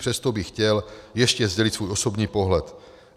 Přesto bych chtěl ještě sdělit svůj osobní pohled.